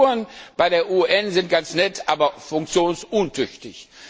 Die Strukturen bei der UNO sind ja ganz nett, aber funktionsuntüchtig.